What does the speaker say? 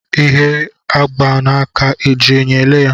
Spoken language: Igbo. Ihe a gba n'aka e ji enyo ele ya?